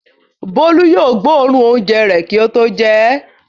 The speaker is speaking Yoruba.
Bólú yóò gbóòórùn oúnjẹ rẹ̀ kí ó tó jẹ ẹ́.